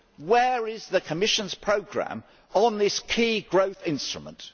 Where is the Commission's programme on this key growth instrument?